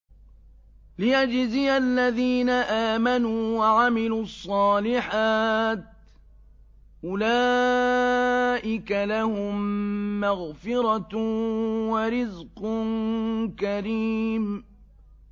لِّيَجْزِيَ الَّذِينَ آمَنُوا وَعَمِلُوا الصَّالِحَاتِ ۚ أُولَٰئِكَ لَهُم مَّغْفِرَةٌ وَرِزْقٌ كَرِيمٌ